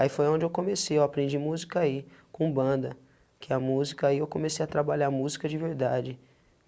Aí foi onde eu comecei eu aprendi música aí, com banda, que é a música aí, eu comecei a trabalhar música de verdade.